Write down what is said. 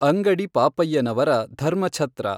ಅಂಗಡಿ ಪಾಪಯ್ಯನವರ ಧರ್ಮಛತ್ರ.